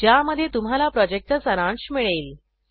ज्यामध्ये तुम्हाला प्रॉजेक्टचा सारांश मिळेल